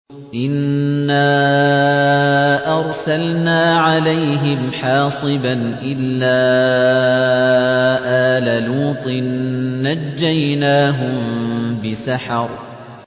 إِنَّا أَرْسَلْنَا عَلَيْهِمْ حَاصِبًا إِلَّا آلَ لُوطٍ ۖ نَّجَّيْنَاهُم بِسَحَرٍ